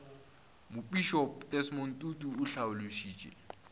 mopišopo desmond tutu o hlalošitše